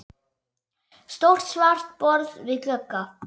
Stórt svart borð við glugga.